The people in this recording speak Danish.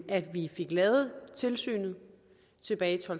at vi fik lavet tilsynet tilbage i to